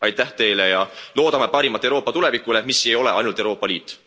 Aitäh teile ja loodame parimat Euroopa tulevikule, mis ei ole ainult Euroopa Liit.